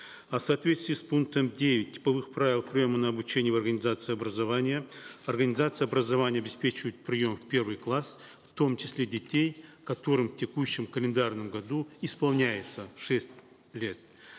а в соответствии с пунктом девять типовых правил приема на обучение в организации образования организации образования обеспечивают прием в первый класс в том числе детей которым в текущем календарном году исполняется шесть лет